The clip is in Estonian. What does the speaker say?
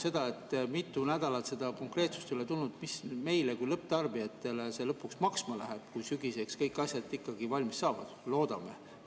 Kui mitu nädalat seda konkreetsust ei ole tulnud, mida see meile kui lõpptarbijatele lõpuks maksma läheb, kui sügiseks kõik asjad valmis saavad?